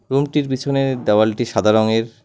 রুমটির পিছনে দেওয়ালটি সাদা রঙের।